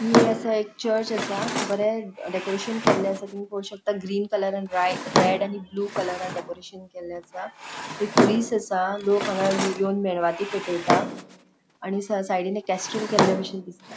हि आसा एक चर्च आसा बरे डेकोरेशन केल्ले आसा तुमि पोळो शकता ग्रीन कलर रे रेड आणि ब्लू कलरान डेकोरेशन केल्ले आसा तै कुरिस आसा लोक हांगा येवन मेनवाती पेटैता आणि साइडीन एक केस्टूल केल्ले बशेन दिसता.